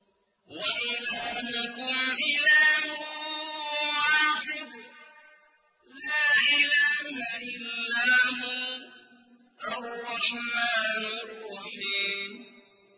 وَإِلَٰهُكُمْ إِلَٰهٌ وَاحِدٌ ۖ لَّا إِلَٰهَ إِلَّا هُوَ الرَّحْمَٰنُ الرَّحِيمُ